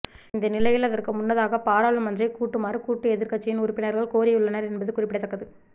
இந்தநிலையில் அதற்கு முன்னதாக பாராளுமன்றை கூட்டுமாறு கூட்டு எதிர்க்கட்சியின் உறுப்பினர்கள் கோரியுள்ளனர் என்பது குறிப்பிடத்தக்கது